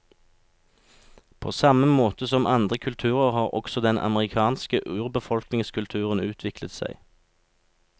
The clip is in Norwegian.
På samme måte som andre kulturer, har også den amerikanske urbefolkningskulturen utviklet seg.